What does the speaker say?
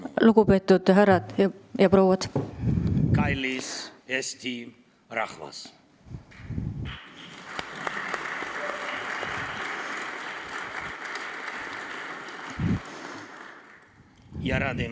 Lugupeetud härrad ja prouad!